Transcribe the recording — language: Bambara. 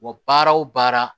Wa baara o baara